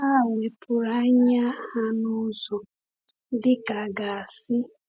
Ha wepụrụ anya ha n’ụzọ, dị ka a ga-asị.